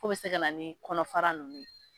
K'o be se ka na ni kɔnɔfara nunnu ye